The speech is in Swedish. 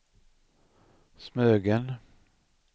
Smögen